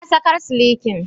Na saƙar silikin.